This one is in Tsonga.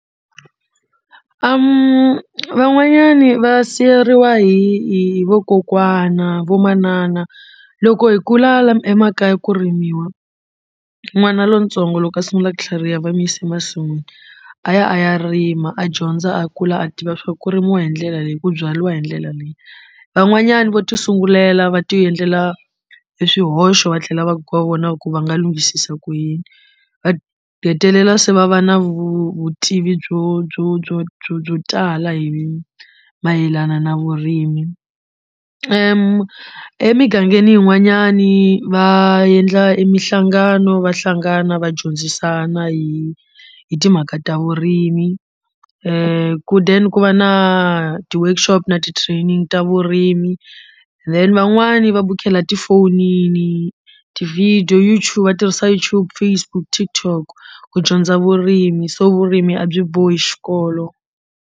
Van'wanyani va siveriwa hi hi vakokwana vo manana loko hi kula emakaya ku rimiwa n'wana lontsongo loko a sungula ku tlhariha va mu yisa masin'wini a ya a ya rima a dyondza a kula a tiva swa ku rimiwa hi ndlela leyi ku byariwa hi ndlela leyi van'wanyana vo ti sungulela va ti endlela eswihoxo va tlhela va ku va vona ku va nga lunghisisa ku yini va hetelela se va na vutivi byo byo byo byo byo tala hi mayelana na vurimi emigangeni yin'wanyani va yendla emihlangano va hlangana va dyondzisana hi hi timhaka ta vurimi ku then ku va na ti workshop na ti training ta vurimi then van'wani va bukhela tifonini ti video va tirhisa YouTube Facebook TikTok ku dyondza vurimi so vurimi a byi bohi xikolo.